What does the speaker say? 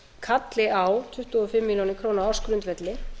kalli á tuttugu og fimm milljónir króna á ársgrundvelli